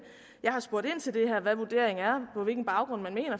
jeg har spurgt ind til det her hvad vurderingen er og på hvilken baggrund man